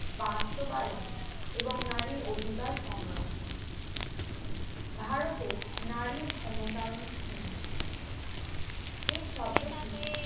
বাস্তবায়ন এবং নারীর অধিকার সংরক্ষণ ভারতে নারীর ক্ষমতায়ন কি এই শব্দটি